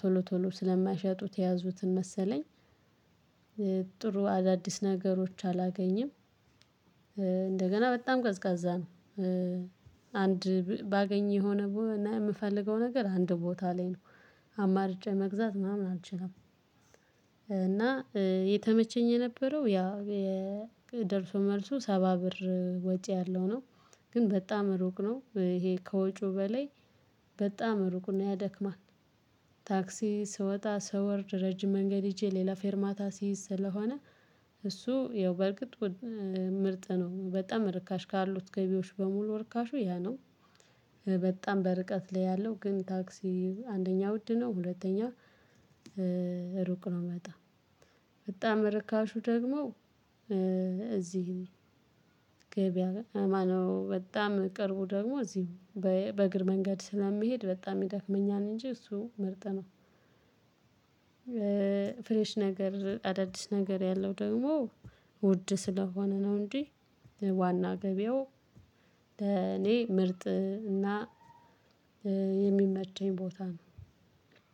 ቶሎ ቶሎ ስለማይሸጡት የያዙትን መሰለኝ። ጥሩ አዳዲስ ነገሮች አላገኝም። እንደገና በጣም ቀዝቃዛ ነው። አንድ ባገኘው የሆነ እና ምፈልገው ነገር አንድ ቦታ ላይ ነው አማርጬ መግዛት ምናምን አልችልም። እና የተመቸኝ የነበረው ያ የደርሶ መልሱ ሰባ ብር ወጪ ያለው ነው። ግን በጣም ሩቅ ነው ይሄ ከወጪው በላይ በጣም ሩቅና ያደክማል። ታክሲ ስወጣ ስወርድ ረጅም መንገድ ይዤ ሌላ ፌርማታ ሲይዝ ስለሆነ። እሱ ያው በርግጥ ምርጥ ነው በጣም ርካሽ ካሉት ገቢያዎች በሙሉ ርካሹ ያ ነው። በጣም በርቀት ላይ ያለው ግን ታክሲ አንደኛ ውድ ነው ሁለተኛ ሩቅ ነው በጣም። በጣም ርካሹ ደግሞ። እዚህ ገብያ ማነው? በጣም ቅርቡ ደግሞ እዚህ በእግር መንገድ ስለሚሄድ በጣም ይደክመኛል እንጂ እሱ ምርጥነው። ፍሬሽ ነገር አዳዲስ ነገር ያለው ደግሞ ውድ ስለሆነ ነው። እንጂ ዋና ገበያው ለኔ ምርጥ እና የሚመቸኝ ቦታ ነው።